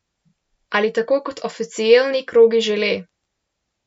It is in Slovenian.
Ali tako kot oficielni krogi žele?